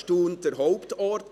Thun war der Hauptort.